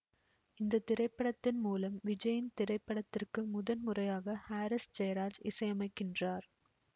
இந்த திரைப்படத்தின் மூலம் விஜயின் திரைப்படத்திற்கு முதன் முறையாக ஹாரிஸ் ஜெயராஜ் இசையமைக்கின்றார்